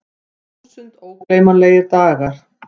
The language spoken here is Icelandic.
Þúsund ógleymanlegir dagar.